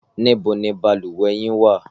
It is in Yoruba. Níbo ni balùwẹ̀ yín wà?